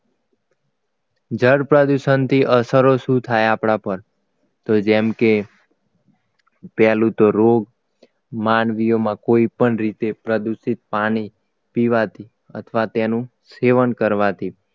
જળ પ્રદૂષણથી અસરો શુ થાય આપણા પર તો જેમ કે પહેલું તો રોગ માનવીઓમાં કોઈપણ રીતે પ્રદૂષિત પાણી પીવાથી અથવા તેનું સેવન કરવાથી